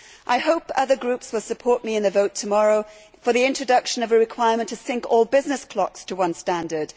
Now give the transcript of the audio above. I hope other groups will support me in the vote tomorrow for the introduction of a requirement to synch all business clocks to one standard.